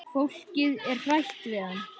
Fólkið er hrætt við hann.